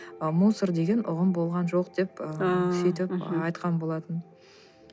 ы мусор деген ұғым болған жоқ деп ы сөйтіп айтқан болатын